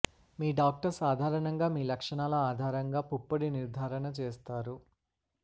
మీ doctor సాధారణంగా మీ లక్షణాల ఆధారంగా పుప్పొడి నిర్ధారణ చేస్తారు